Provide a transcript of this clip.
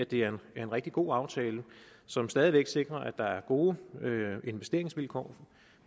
det er en rigtig god aftale som stadig væk sikrer at der er gode investeringsvilkår